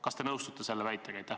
Kas te nõustute selle väitega?